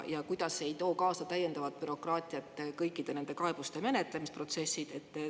Ja kuidas ei too kaasa täiendavat bürokraatiat kõikide nende kaebuste menetlemisprotsessid?